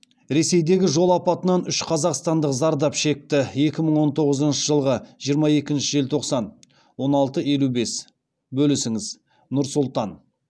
ресейдегі жол апатынан үш қазақстандық зардап шекті екі мың он тоғызыншы жылғы жиырма екінші желтоқсан он алты елу бес бөлісіңіз нұр сұлтан